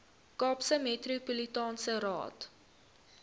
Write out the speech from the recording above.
kaapse metropolitaanse raad